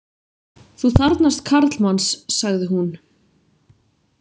Þú þarfnast karlmanns, sagði hún.